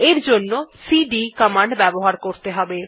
এর জন্য CD command ব্যবহার করতে হবে